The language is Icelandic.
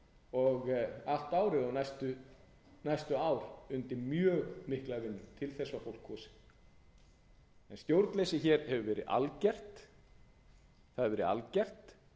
og allt árið og næstu ár undir mjög mikla vinnu til þess var fólk kosið en stjórnleysið hefur verið algert